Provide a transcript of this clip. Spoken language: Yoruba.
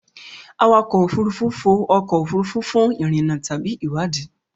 Awakọ̀ òfurufú fò ọkọ̀ òfurufú fún ìrìnnà tàbí ìwádìí.